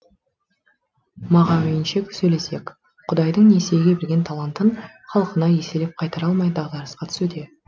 мағауинше сөйлесек құдайдың несиеге берген талантын халқына еселеп қайтара алмай дағдарысқа түсуде